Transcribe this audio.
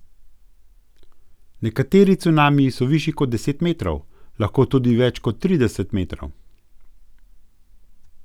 Nekateri cunamiji so višji kot deset metrov, lahko tudi več kot trideset metrov.